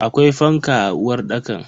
Akwai fanka a uwarɗakan?